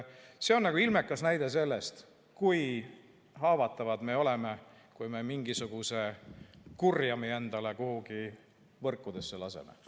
See on ilmekas näide sellest, kui haavatavad me oleme, kui me mingisuguse kurjami endale kuhugi võrkudesse laseme.